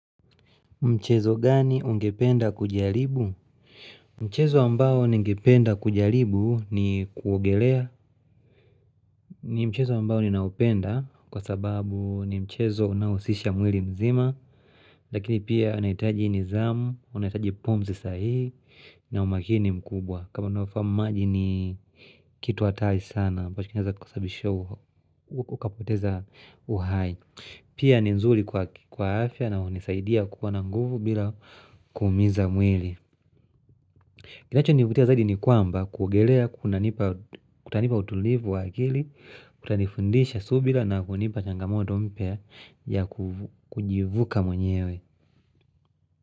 Mchezo gani ungependa kujaribu? Mchezo ambao ningependa kujalibu ni kuogelea ni mchezo ambao ninaupenda kwa sababu ni mchezo unao husisha mwili mzima Lakini pia inaitaji nidhamu, unahitaji pumzi sahihi na umakini mkubwa kama unafahamu maji ni kitu hatari sana ambacho kinaeza kusababisha ukapoteza uhai Pia ni nzuri kwa afya na hunisaidia kuwa na nguvu bila kuumiza mwili. Kinachonivutia zaidi ni kwamba kuogelea kutanipa utulivu wa akili, kutanifundisha subira na kunipa changamoto mpya ya kujivuka mwenyewe.